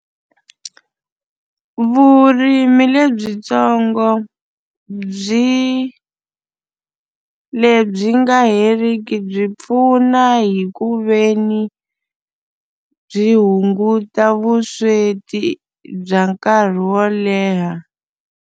Vurimi lebyitsongo byi lebyi nga heriki byi pfuna hi ku ve ni byi hunguta vusweti bya nkarhi wo leha.